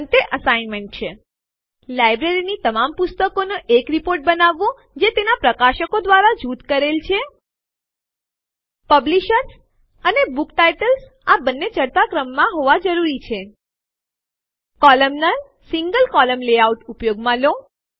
અંતે અસાઇનમેન્ટ છે કોલમનાર single કોલમ્ન લેઆઉટ ઉપયોગમાં લો